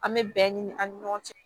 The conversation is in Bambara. An bɛ bɛɛ ɲini an ni ɲɔgɔn cɛ